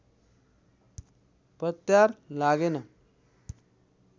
पत्यार लागेन